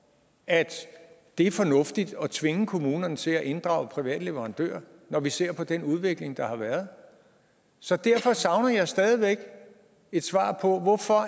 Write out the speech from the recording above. at det er fornuftigt at tvinge kommunerne til at inddrage private leverandører når vi ser på den udvikling der har været så derfor savner jeg stadig væk et svar på hvorfor